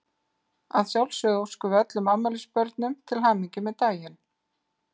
Að sjálfsögðu óskum við öllum afmælisbörnum til hamingju með daginn.